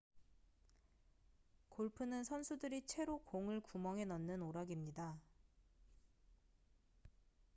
골프는 선수들이 채로 공을 구멍에 넣는 오락입니다